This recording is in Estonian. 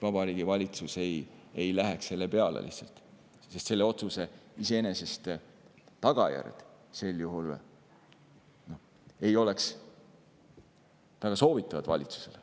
Vabariigi Valitsus lihtsalt ei läheks selle peale välja, sest sel juhul sellise otsuse tagajärjed iseenesest ei oleks väga soovitavad valitsusele.